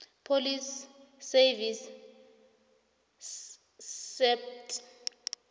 police service saps